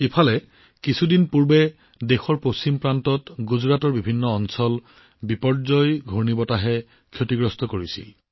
সেই সময়ছোৱাত দেশৰ পশ্চিমাঞ্চলত কিছু দিন পূৰ্বে গুজৰাটত বিভিন্ন অঞ্চলত বিপৰ্যয় ঘূৰ্ণীবতাহ আহিছিল